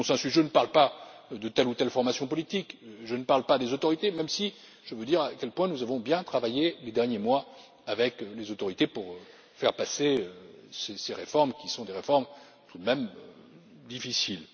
Je ne parle pas de telle ou telle formation politique, je ne parle pas des autorités, même si je tiens à dire à quel point nous avons bien travaillé ces derniers mois avec les autorités pour faire passer ces réformes, qui sont des réformes tout de même difficiles.